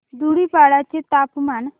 धुडीपाडा चे तापमान